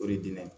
O de di ne ye